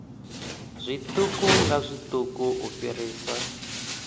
zwiṱuku nga zwiṱuku u fhirisa